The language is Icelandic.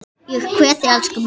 Ég kveð þig, elsku mamma.